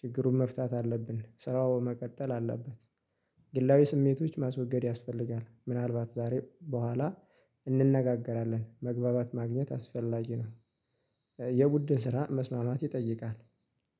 ችግሩን መፍታት አለብን ስራው መቀጠል አለበት። ግላዊ ስሜቶች ማስወገድ ያስፈልጋል። ምናልባት ዛሬ በኋላ እንነጋገራለን። መግባባት ማግኘት አስፈላጊ ነው። የቡድን ስራ መስማማት ይጠይቃል።